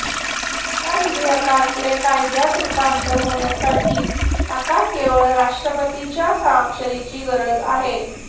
या विधेयकाचे कायद्यात रुपांतर होण्यासाठी आता केवळ राष्ट्रपतींच्या स्वाक्षरीची गरज आहे